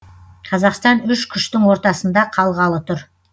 қазақстан үш күштің ортасында қалғалы тұр